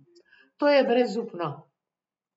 To je brezupno.